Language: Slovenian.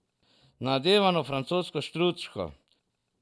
Nadevano francosko štruco.